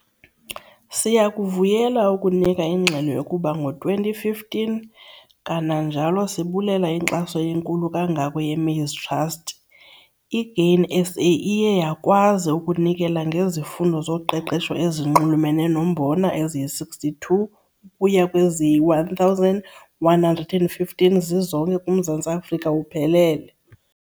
Siyakuvuyela ukunika ingxelo yokuba ngo-2015, kananjalo sibulela inkxaso enkulu kangako yeMaize Trust, iGrain SA iye yakwazi ukunikela ngezifundo zoqeqesho ezinxulumene nombona eziyi-62 ukuya kweziyi-1 115 zizonke kuMzantsi Afrika uphelele.